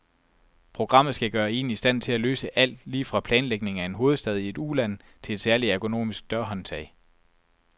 Programmet skal gøre en i stand til at løse alt, lige fra planlægning af en hovedstad i et uland til et særlig ergonomisk dørhåndtag.